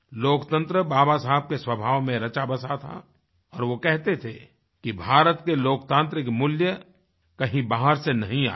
लोकतंत्र बाबा साहब के स्वभाव में रचाबसा था और वो कहते थे कि भारत के लोकतांत्रिक मूल्य कहीं बाहर से नहीं आए हैं